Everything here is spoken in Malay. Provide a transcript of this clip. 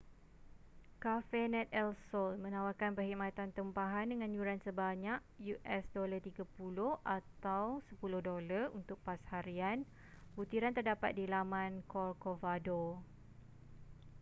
cafenet el sol menawarkan perkhidmatan tempahan dengan yuran sebanyak us$30 atau $10 untuk pas harian butiran terdapat di laman corcovado